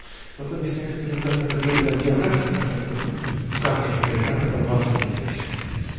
потом есть некоторые здания которые я в географии проходил ну как некоторые процентов двадцать тридцать